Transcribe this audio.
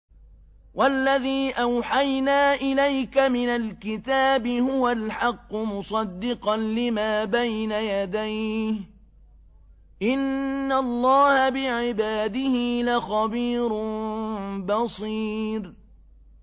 وَالَّذِي أَوْحَيْنَا إِلَيْكَ مِنَ الْكِتَابِ هُوَ الْحَقُّ مُصَدِّقًا لِّمَا بَيْنَ يَدَيْهِ ۗ إِنَّ اللَّهَ بِعِبَادِهِ لَخَبِيرٌ بَصِيرٌ